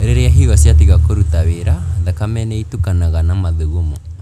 Rĩrĩa higo ciatiga kũruta wĩra, thakame nĩitukanaga na mathugumo